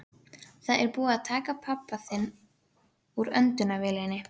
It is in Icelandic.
Það er búið að taka pabba þinn úr öndunarvélinni.